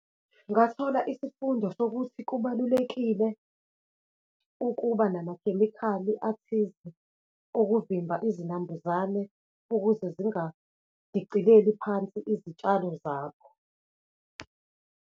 Ngathola isifundo sokuthi kubalulekile ukuba namakhemikhali athize, okuvimba izinambuzane ukuze zingadicileli phansi izitshalo zakho.